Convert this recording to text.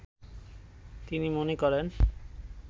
তিনি মনে করেন